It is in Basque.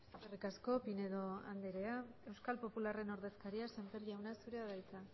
eskerrik asko pinedo andrea euskal popularraren ordezkaria sémper jauna zurea da hitza